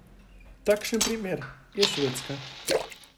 Takšen primer je Švedska.